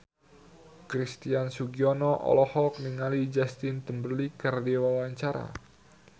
Christian Sugiono olohok ningali Justin Timberlake keur diwawancara